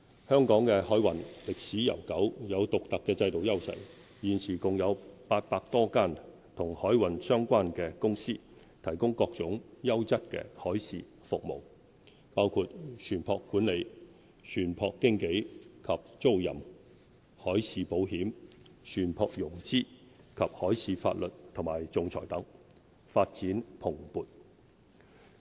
香港的海運歷史悠久，有獨特的制度優勢，現時共有800多間與海運相關的公司，提供各種優質海事服務，包括船舶管理、船舶經紀及租賃、海事保險、船舶融資及海事法律和仲裁等，發展蓬勃。